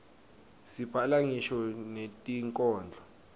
sibhala ngisho netinkhondlo